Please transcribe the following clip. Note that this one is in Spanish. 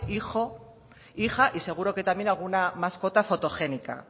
hijo hija y seguro que también alguna mascota fotogénica